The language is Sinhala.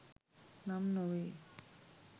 නම් නොවේ